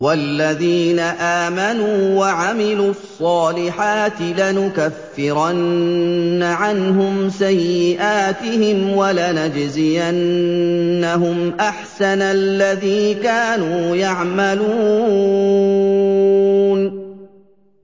وَالَّذِينَ آمَنُوا وَعَمِلُوا الصَّالِحَاتِ لَنُكَفِّرَنَّ عَنْهُمْ سَيِّئَاتِهِمْ وَلَنَجْزِيَنَّهُمْ أَحْسَنَ الَّذِي كَانُوا يَعْمَلُونَ